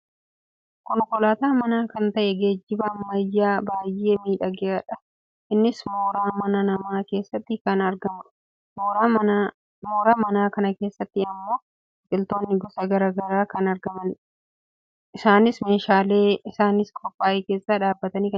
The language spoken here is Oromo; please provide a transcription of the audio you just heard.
Konkolaataa mana kan ta'ee geejjiba ammayyaa baayyee miidhagaadha. Innis mooraa mana namaa keessatti kan argamudha. Mooraa mana kanaa keessatti ammoo biqiltoonni gosa gara garaa kan argamanidha. isaanis meeshaa isaaniif qophaa'e keessa dhaabbatanii kan jiranidha.